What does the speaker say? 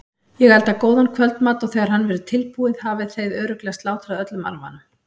Ég elda góðan kvöldmat og þegar hann verður tilbúinn hafið þið örugglega slátrað öllum arfanum.